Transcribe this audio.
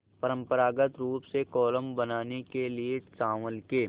परम्परागत रूप से कोलम बनाने के लिए चावल के